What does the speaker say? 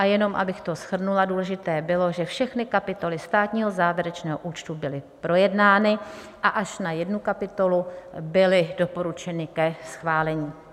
A jenom abych to shrnula, důležité bylo, že všechny kapitoly státního závěrečného účtu byly projednány a až na jednu kapitolu byly doporučeny ke schválení.